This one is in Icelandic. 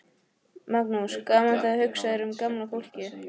Magnús: Gaman þegar hugsað er um gamla fólkið?